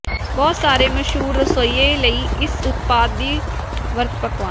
ਬਹੁਤ ਸਾਰੇ ਮਸ਼ਹੂਰ ਰਸੋਈਏ ਲਈ ਇਸ ਉਤਪਾਦ ਨੂੰ ਵਰਤ ਪਕਵਾਨਾ